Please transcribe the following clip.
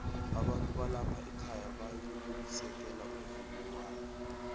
abantu balapha ekhaya bayau u sekelo umvumowala